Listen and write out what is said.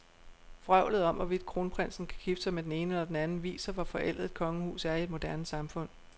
Vrøvlet om, hvorvidt kronprinsen kan gifte sig med den ene eller den anden, viser, hvor forældet et kongehus er i et moderne samfund.